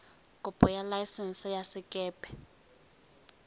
kopo ya laesense ya sekepe